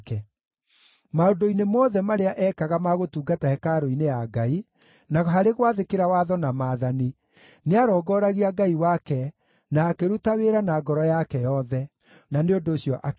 Maũndũ-inĩ mothe marĩa ekaga ma gũtungata hekarũ-inĩ ya Ngai, na harĩ gwathĩkĩra watho na maathani, nĩarongooragia Ngai wake na akĩruta wĩra na ngoro yake yothe. Na nĩ ũndũ ũcio akĩgaacĩra.